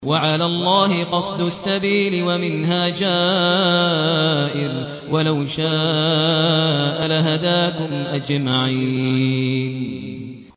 وَعَلَى اللَّهِ قَصْدُ السَّبِيلِ وَمِنْهَا جَائِرٌ ۚ وَلَوْ شَاءَ لَهَدَاكُمْ أَجْمَعِينَ